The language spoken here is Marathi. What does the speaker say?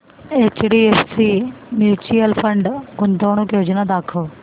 एचडीएफसी म्यूचुअल फंड गुंतवणूक योजना दाखव